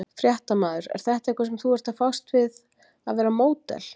Fréttamaður: er þetta eitthvað sem þú ert að fást við að vera módel?